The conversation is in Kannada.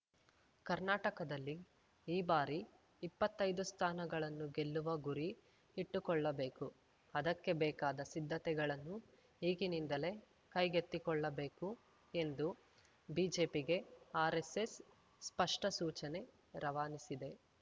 ಕರ್ನಾಟಕದಲ್ಲಿ ಈ ಬಾರಿ ಇಪ್ಪತ್ತೈದು ಸ್ಥಾನಗಳನ್ನು ಗೆಲ್ಲುವ ಗುರಿ ಇಟ್ಟುಕೊಳ್ಳಬೇಕು ಅದಕ್ಕೆ ಬೇಕಾದ ಸಿದ್ಧತೆಗಳನ್ನು ಈಗಿನಿಂದಲೇ ಕೈಗೆತ್ತಿಕೊಳ್ಳಬೇಕು ಎಂದು ಬಿಜೆಪಿಗೆ ಆರೆಸ್ಸೆಸ್‌ ಸ್ಪಷ್ಟಸೂಚನೆ ರವಾನಿಸಿದೆ